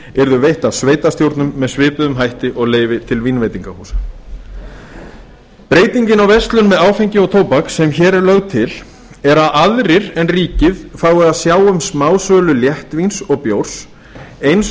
yrðu veitt af sveitarstjórnum með svipuðum hætti og leyfi til vínveitingahúsa breytingin á verslun með áfengi og tóbak sem hér er lögð til er að aðrir en ríkið fái að sjá um smásölu léttvíns og bjórs eins